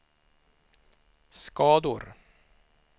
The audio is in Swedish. skador